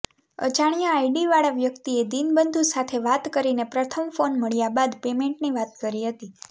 અજાણ્યા આઇડીવાળા વ્યકિતએ દિનબંધુ સાથે વાત કરીને પ્રથમ ફોન મળ્યા બાદ પેમેન્ટની વાત કરી હતી